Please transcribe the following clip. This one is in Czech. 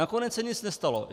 Nakonec se nic nestalo.